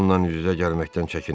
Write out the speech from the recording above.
Ondan üz-üzə gəlməkdən çəkinin.